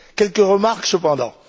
Quelques remarques cependant.